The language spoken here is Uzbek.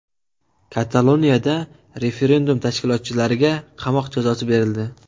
Kataloniyada referendum tashkilotchilariga qamoq jazosi berildi.